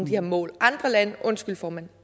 her mål andre lande undskyld formand